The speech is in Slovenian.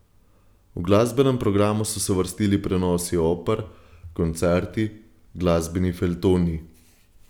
V glasbenem programu so se vrstili prenosi oper, koncerti, glasbeni feljtoni.